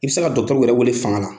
I bɛ se ka dɔgɔtɔrɔw yɛrɛ wele fanga la.